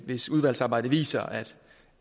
hvis udvalgsarbejdet viser at